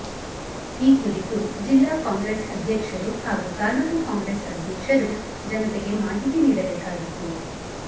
ಈ ಕುರಿತು ಜಿಲ್ಲಾ ಕಾಂಗ್ರೆಸ್ ಅಧ್ಯಕ್ಷರು ಹಾಗೂ ತಾಲೂಕು ಕಾಂಗ್ರೆಸ್ ಅಧ್ಯಕ್ಷರು ಜನತೆಗೆ ಮಾಹಿತಿ ನೀಡಬೇಕಾಗಿತ್ತು